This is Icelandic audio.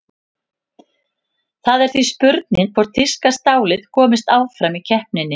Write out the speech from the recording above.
Það er því spurning hvort þýska stálið komist áfram í keppninni?